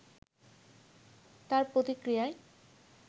তার প্রতিক্রিয়ায়